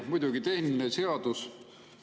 Muidugi, tehniline seadus.